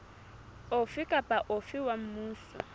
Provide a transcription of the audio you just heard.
ofe kapa ofe wa mmuso